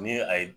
Ni a ye